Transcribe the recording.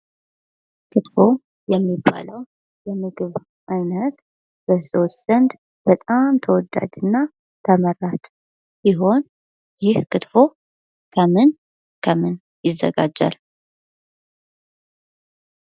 ክትፎ የሚባለዉ የምግብ አይነት በሰዎች ዘንድ በጣም ተወዳጅ እና ተመራጭ ሲሆን ይህ ክትፎ ከምን ከምን ይዘጋጃል?